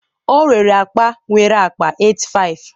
ọ rere akpa nwere akpa 8500